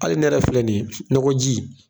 Ai ne yɛrɛ filɛ nin ye nakɔji